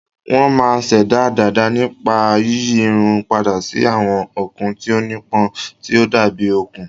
Wọ́n máa ń ṣẹ̀dá dàda nípa yíyí irun padà sí àwọn okùn tí ó nípọn, tí ó dàbí okùn.